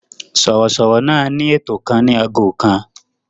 Sọ̀rọ̀sọ̀rọ̀ náà ní ètò kan ní ago kan.